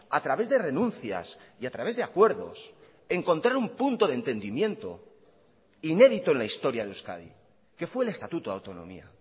a través de renuncias y a través de acuerdos encontrar un punto de entendimiento inédito en la historia de euskadi que fue el estatuto de autonomía